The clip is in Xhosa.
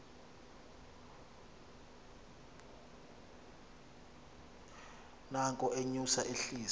nanko enyusa ehlisa